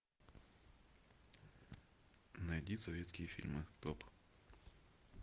найди советские фильмы топ